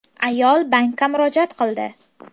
Ayol bankka murojaat qildi.